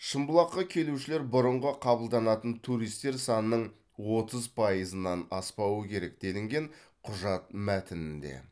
шымбұлаққа келушілер бұрынғы қабылданатын туристер санының отыз пайызынан аспауы керек делінген құжат мәтінінде